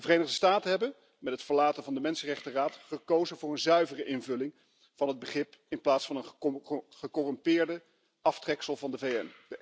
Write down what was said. De Verenigde Staten hebben met het verlaten van de Mensenrechtenraad gekozen voor een zuivere invulling van het begrip in plaats van het gecorrumpeerde aftreksel van de VN.